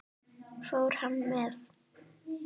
Fór hann með?